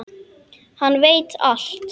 Hann veit allt.